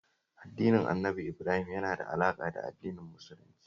Addinin Annabi Ibrahim yana da alaƙa da Addinin Musulunci